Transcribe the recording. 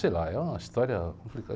Sei lá, é uma história complicada.